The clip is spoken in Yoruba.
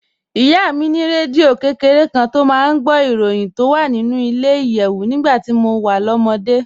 Ìyá mi ní rédíò kékeré kan tó máa ń gbọ́ ìròyìn tó wà nínú ilẹ̀-ìyẹ̀wù nígbà tí mo wà lọ́mọdé